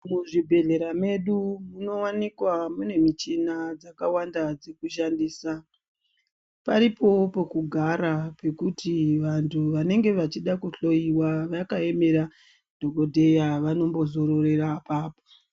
Muzvibhedhlera medu munowanikwa mune michina dzakawanda dzekushandisa, paripoo pekugara pekuti vantu vanenge vachida kuhloiwa vakaemera dhokoteya vanombozororera apapo.